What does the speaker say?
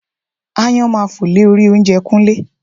Aáyán máa fò lé orí oúnjẹ Kúnlé